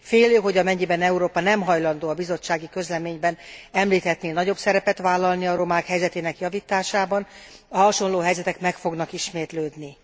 Félő, hogy amennyiben Európa nem hajlandó a bizottsági közleményben említettnél nagyobb szerepet vállalni a romák helyzetének javításában, a hasonló helyzetek meg fognak ismétlődni.